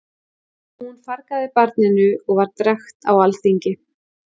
Hún fargaði barninu og var drekkt á alþingi.